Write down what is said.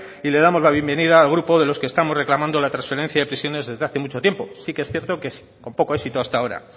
y le damos la bienvenida al grupo de los que estamos reclamando la transferencia de prisiones desde hace mucho tiempo sí que es cierto que con poco éxito hasta ahora